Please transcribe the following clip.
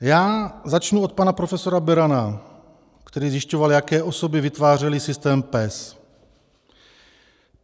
Já začnu od pana profesora Berana, který zjišťoval, jaké osoby vytvářely systém PES.